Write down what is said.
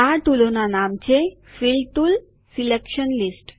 આ ટુલોના નામ છે ફિલ ટુલ સિલેકશન લીસ્ટ